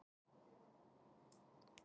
ÞÓRBERGUR: Ég hef breyst.